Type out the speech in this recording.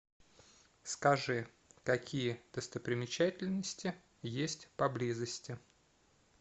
скажи какие достопримечательности есть поблизости